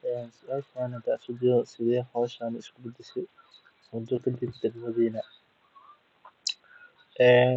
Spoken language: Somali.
Hee suashan hadan isku dayo sithe hoshan isku badashe ee kajirto dagmadhina ee